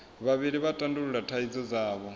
vhavhili vha tandulula thaidzo dzavho